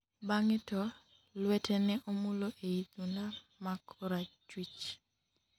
bang'e to, lwete ne omulo ei thunda ma korachwich